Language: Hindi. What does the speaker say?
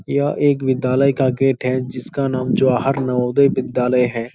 यह एक विद्यालय का गेट है जिसका नाम जवाहर नवोदय विद्यालय है।